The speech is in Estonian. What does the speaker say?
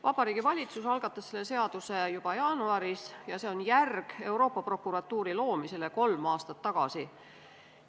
Vabariigi Valitsus algatas selle seaduseelnõu juba jaanuaris ja see on järg Euroopa Prokuratuuri loomisele kolm aastat tagasi.